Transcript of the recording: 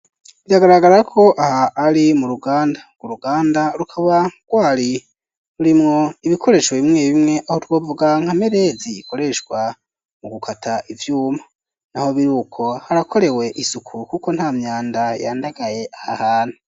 Biragaragara ko aha ari mu ruganda ngo ruganda rukaba gwari rurimwo ibikoresho bimwe bimwe aho twovuga nkamerezi ikoreshwa mu gukata ivyuma na ho biri uko harakorewe isuku, kuko nta myanda yandagaye aha hantu.